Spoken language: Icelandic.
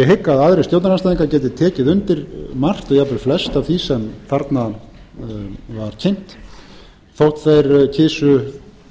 ég hygg að aðrir stjórnarandstæðingar geti tekið undir margt og jafnvel flest af því sem þarna var kynnt þótt þeir kysu